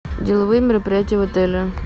деловые мероприятия в отеле